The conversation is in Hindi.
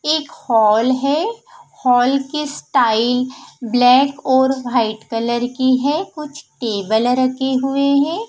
एक हॉल है हॉल की स्टाइल ब्लैक और वाइट कलर की है कुछ टेबल रखे हुए हैं।